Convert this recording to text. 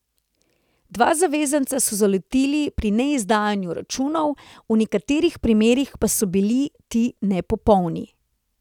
Dva zavezanca so zalotili pri neizdajanju računov, v nekaterih primerih pa so bili ti nepopolni.